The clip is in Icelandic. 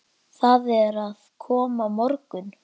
Það er að koma morgunn